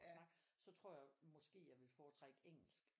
Snakke så tror jeg måske jeg ville foretrække engelsk